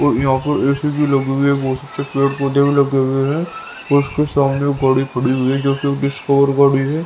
और यहां पर ए_सी भी लगी हुई है बहुत अच्छे पेड़ पौधे भी लगे हुए हैं और उसके सामने गाड़ी खड़ी हुई है जो कि डिस्कवर गाड़ी है।